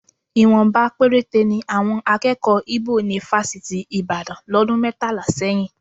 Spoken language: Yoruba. Ìwọ̀nba péréte ni àwọn akẹ́kọ̀ọ́ Íbò ní fásitì Ìbàdàn lọ́dún mẹ́tàlá sẹ́yìn